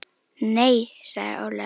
Nei sagði Ólafur.